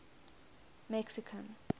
mexican